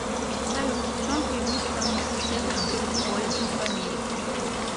салют в чем преимущество университетов перед колледжами в америке